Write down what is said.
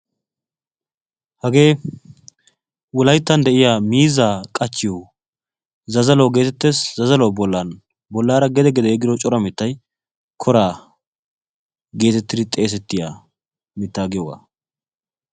hagee wolayttan de'iyaa miizzaa qachchiyoo zazzaluwaa getettees. zazzaluwaa bollan bollaara gede gede yeggido cora mittay koraa getettidi xeesettiyaa mittaa giyoogaa.